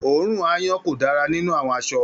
oòrùn aáyán ko dára nínú àwọn aṣọ.